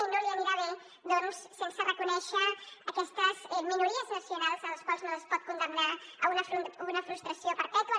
i no li anirà bé doncs sense reconèixer aquestes minories nacionals a les quals no es pot condemnar a una frustració perpètua